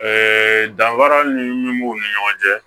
Ɛɛ danfara min b'u ni ɲɔgɔn cɛ